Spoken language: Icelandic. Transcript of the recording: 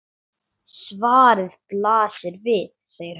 Svarið blasir við, segir hann.